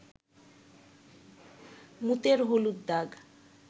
মুতের হলুদ দাগ